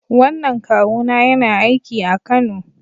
Wannan kawuna yana aiki a Kano